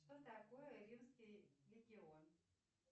что такое римский легион